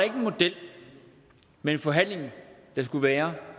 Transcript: en model med en forhandling der skulle være